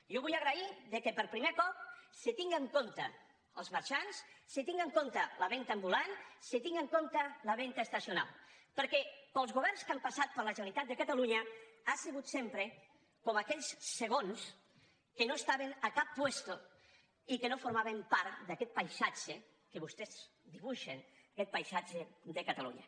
jo vull agrair que per primer cop se tingui en compte els marxants se tingui en compte la venda ambulant se tingui en compte la venda estacional perquè pels governs que han passat per la generalitat de catalunya ha sigut sempre com aquells segons que no estaven a cap puesto i que no formaven part d’aquest paisatge que vostès dibuixen aquest paisatge de catalunya